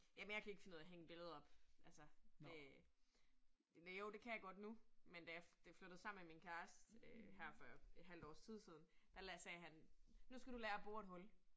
Jamen jeg kan ikke finde ud af at hænge billeder op altså det. Eller jo det kan jeg godt nu, men da jeg da jeg flyttede sammen med min kæreste øh her for et halvt års tid siden, der sagde han, nu skal du lære at bore et hul